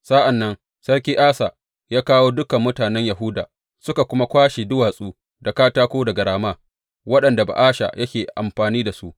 Sa’an nan Sarki Asa ya kawo dukan mutanen Yahuda, suka kuma kwashe duwatsu da katako daga Rama waɗanda Ba’asha yake amfani da su.